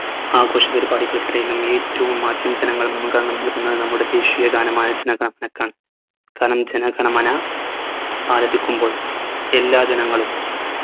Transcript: ആഘോഷ പരിപാടികൾക്ക് ഇടയിലും ഏറ്റവും ആദ്യം ജനങ്ങൾ മുൻഗണന നല്കുന്നത് നമ്മുടെ ദേശിയ ഗാനമായ ജന ഗണ മനക്കാണ് കാരണം ജനഗണമന ആലപിക്കുമ്പോൾ എല്ലാ ജനങ്ങളും